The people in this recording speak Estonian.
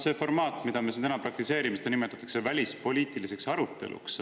Seda formaati, mida me siin täna praktiseerime, nimetatakse välispoliitika aruteluks.